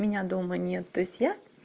меня дома нет то есть я